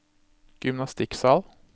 gymnastikksal